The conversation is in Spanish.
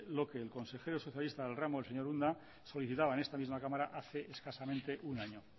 lo que el consejero socialista del ramo el señor unda solicitaba en esta misma cámara hace escasamente un año